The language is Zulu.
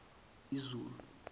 izulu